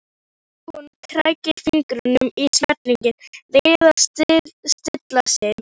Hún krækir fingrum í smekkinn, reynir að stilla sig.